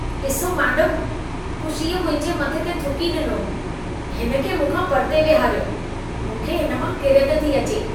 ॾिसो मेडमु, कुशीअ मुंहिंजे मथे ते थुकी ॾिनो। हिन खे मूंखां परिते विहारियो। मूंखे हिन मां किरियत थी अचे।